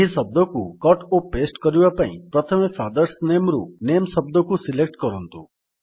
ଏହି ଶବ୍ଦକୁ କଟ୍ ଓ ପାସ୍ତେ କରିବା ପାଇଁ ପ୍ରଥମେ ଫାଦର୍ସ ନାମେ ରୁ ନାମେ ଶବ୍ଦକୁ ସିଲେକ୍ଟ କରନ୍ତୁ